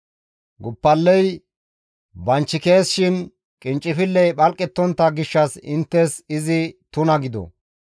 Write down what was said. Guppaley banchikees shin qinccifilley phalqettontta gishshas izi inttes tuna gido.